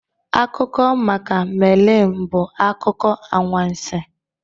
Akụkọ maka Melin bụ akụkọ anwansi